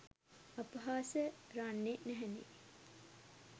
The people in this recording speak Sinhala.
අපහාස රන්නෙ නැහැනෙ